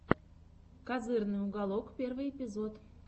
козырный уголок первый эпизод